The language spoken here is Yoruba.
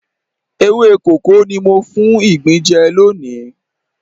Ewé kókó ni mo fún ìgbín jẹ lónìí.